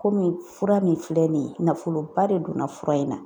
Komi fura min filɛ nin ye nafoloba de donna fura in na.